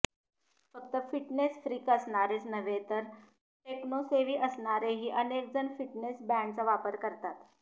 फक्त fitness freak असणारेच नव्हे तर टेक्नोसेव्ही असणारेही अनेक जण फिटनेस बँडचा वापर करतात